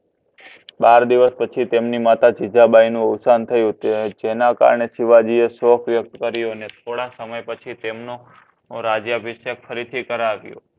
બાર દિવસ પછી તમની માતા જીજાબાઈ નું અવશન જેના કારણે શિવજી એ શોક વયુક્ત કર્યું થોડા સમય પછી તેમનો રાજ્ય અભિશકે ફરી થી કારવ્યો